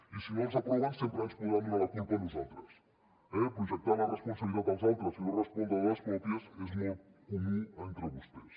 i si no els els aproven sempre ens podran donar la culpa a nosaltres eh projectar la responsabilitat als altres i no respondre de les pròpies és molt comú entre vostès